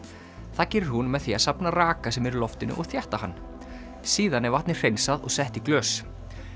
það gerir hún með því að safna raka sem er í loftinu og þétta hann síðan er vatnið hreinsað og sett í glös